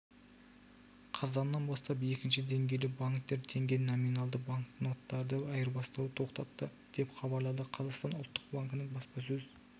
қазаннан бастап екінші деңгейлі банктер теңге номиналды банкноттарды айырбастауды тоқтатты деп хабарлады қазақстан ұлттық банкінің баспасөз